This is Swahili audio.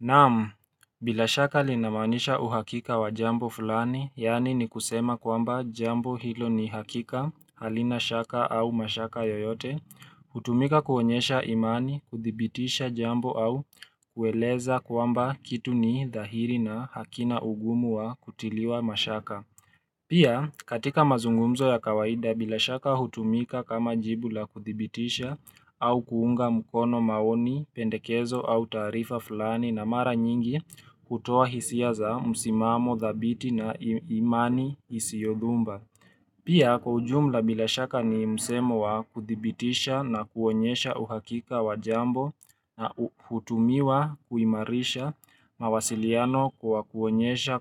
Namu, bila shaka linamanisha uhakika wa jambo fulani, yani ni kusema kwamba jambo hilo ni hakika, halina shaka au mashaka yoyote, hutumika kuonyesha imani, kuthibitisha jambo au kueleza kwamba kitu ni dhahiri na hakina ugumu wa kutiliwa mashaka. Pia katika mazungumzo ya kawaida bila shaka hutumika kama jibula kuthibitisha au kuunga mukono maoni, pendekezo au tarifa fulani na mara nyingi kutoa hisia za msimamo, thabiti na imani isiodumba. Pia kujumla bila shaka ni msemo wa kuthibitisha na kuonyesha uhakika wa jambo na hutumiwa kuimarisha mawasiliano kwa kuonyesha